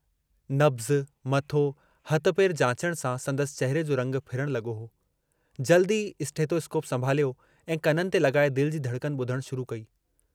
नब्ज़, मथो, हथ पेर जाचण सां संदसि चहिरे जो रंगु फिरण लगो हो, जल्दु ई स्टेथोस्कोप संभालियो ऐं कननि ते लगाए दिल जी धड़कन बुधणु शुरू कई।